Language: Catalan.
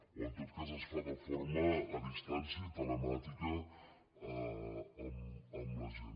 o en tot cas es fa de forma a distància i telemàtica amb la gent